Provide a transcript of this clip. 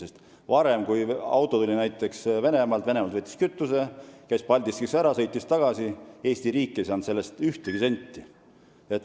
Kui varem tuli meile auto näiteks Venemaalt, võttis sealt kütust, käis Paldiskis ära ja sõitis tagasi, siis ei saanud Eesti riik selle eest ühtegi senti.